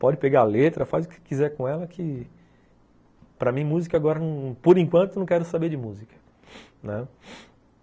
Pode pegar a letra, faz o que quiser com ela que... Para mim, música agora... Por enquanto, não quero saber de música, né.